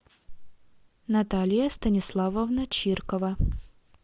наталия станиславовна чиркова